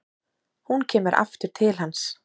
Hún kemur aftur til hans.